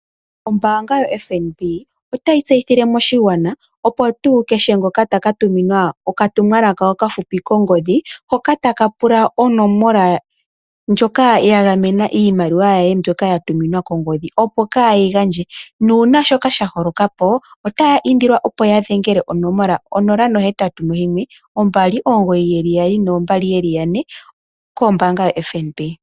Ombaanga yoFNB otayi tseyithile moshigwana, opo tuu kehe ngoka ta ka tuminwa okatumwalaka okafupi kongodhi hoka taka pula onomola ndjoka ya gamena iimaliwa ye mbyoka ya tuminwa kongodhi, opo kaaye yi gandje. Uuna shoka sha holoka otaya indilwa opo ya dhengele onomola 081 2992222. Kombaanga yoFNB.